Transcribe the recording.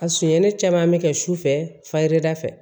A sonyani caman bɛ kɛ sufɛ fayirida fɛ